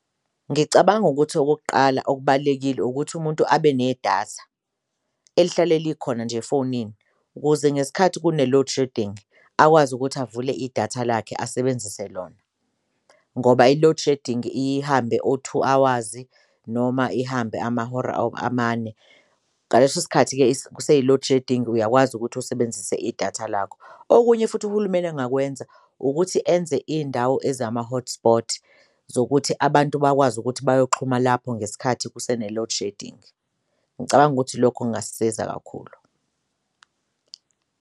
Ngicabanga ukuthi okokuqala okubalulekile ukuthi umuntu abe nedatha elihlale likhona nje fonini ukuze ngesikhathi kune-load shedding akwazi ukuthi avule idatha lakhe asebenzise lona, ngoba i-loadshedding iye ihambe o-two hours noma ihambe amahora amane ngaleso sikhathi-ke kuseyi-load shedding uyakwazi ukuthi usebenzise idatha lakho. Okunye, futhi uhulumeni engakwenza ukuthi enze iy'ndawo ezama-hotspots zokuthi abantu bakwazi ukuthi bayoxhuma lapho ngesikhathi kusene-load shedding, ngicabanga ukuthi lokho kungasiza kakhulu.